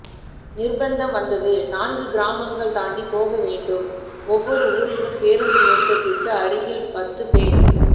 நிர்ப்பந்தம் வந்தது நான்கு கிராமங்கள் தாண்டிப்போகவேண்டும் ஒவ்வொரு ஊரிலும் பேருந்து நிறுத்தத்துக்கு அருகில் பத்துப்பேர்